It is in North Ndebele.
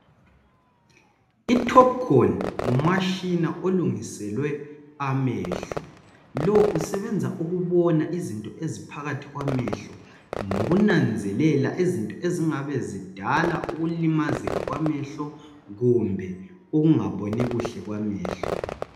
Itopcon ngumashina olungiselwe amehlo lo usebenza ukubona izinto eziphakathi kwamehlo nokunanzelela izinto ezingabe zidala ukulimazeka kwamehlo kumbe ukungaboni kuhle kwamehlo